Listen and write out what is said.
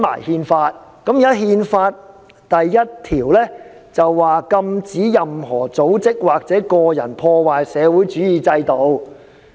《憲法》第一條是禁止任何組織或個人破壞社會主義制度。